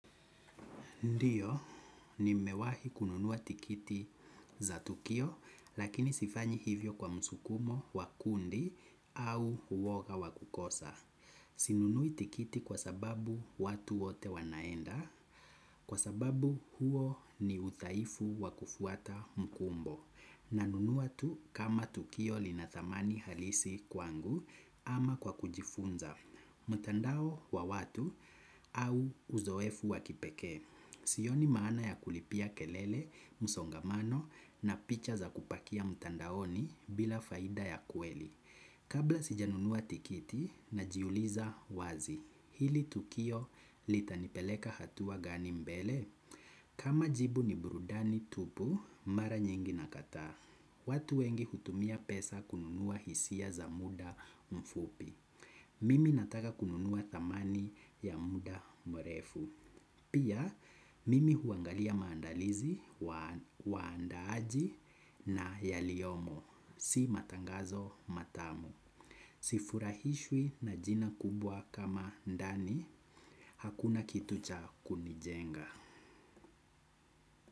Ndio, ni mewahi kununuwa tikiti za tukio, lakini sifanyi hivyo kwa msukumo wakundi au uwoga wa kukosa. Sinunui tikiti kwa sababu watu wote wanaenda, kwa sababu huo ni udhaifu wa kufuata mkumbo. Na nunua tu kama tukio linadhamani halisi kwangu ama kwa kujifunza. Mutandao wa watu au uzoefu wakipekee. Sioni maana ya kulipia kelele, musongamano na picha za kupakia mtandaoni bila faida ya kweli. Kabla sijanunua tikiti na jiuliza wazi. Hili tukio litanipeleka hatua gani mbele? Kama jibu ni burudani tupu, mara nyingi na kataa. Watu wengi hutumia pesa kununuwa hisia za muda mfupi. Mimi nataka kununuwa thamani ya muda mrefu. Pia mimi huangalia maandalizi, waandaaji na yaliyomo. Si matangazo matamu. Sifurahishwi na jina kubwa kama dani. Hakuna kitu cha kunijenga.